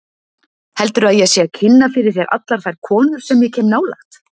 Heldurðu að ég sé að kynna fyrir þér allar þær konur sem ég kem nálægt?